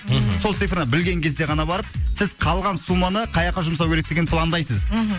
мхм сол цифра білген кезде ғана барып сіз қалған сумманы қаяққа жұмсау керектігін пландайсыз мхм